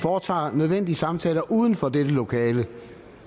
foretager nødvendige samtaler uden for dette lokale